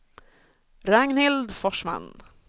Ragnhild Forsman